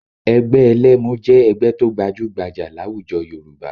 Ẹgbẹ́ ẹlẹ́mu jẹ́ ẹgbẹ́ tó gbajúgbajà láwùjọ Yorùbá